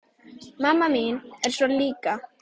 Mamma mín er svona líka.